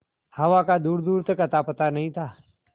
हवा का दूरदूर तक अतापता नहीं था